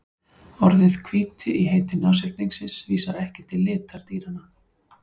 Orðið hvíti í heiti nashyrningsins vísar ekki til litar dýranna.